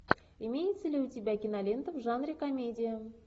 имеется ли у тебя кинолента в жанре комедия